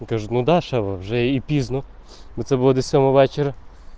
каждому дашь оружие бизнес это было до самого вечера